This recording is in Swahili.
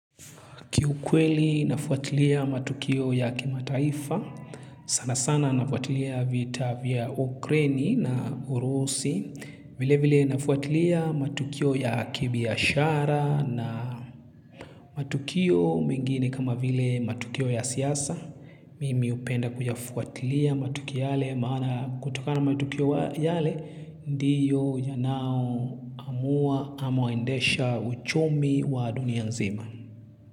Kiukweli nafuatilia matukio ya kimataifa, sana sana nafuatilia vita vya ukraini na urusi, vile vile nafuatilia matukio ya kibiashara na matukio mengine kama vile matukio ya siasa. Mimi hupenda kuyafuatilia matukio yale maana kutoka na matukio yale ndiyo yanao amua ama uendesha uchumi wa dunia nzima.